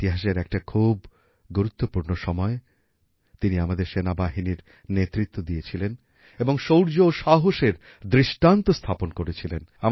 ইতিহাসের একটা খুব গুরুত্বপূর্ণ সময়ে তিনি আমাদের সেনাবাহিনীর নেতৃত্ব দিয়েছিলেন এবং শৌর্য ও সাহসের দৃষ্টান্ত স্থাপন করেছিলেন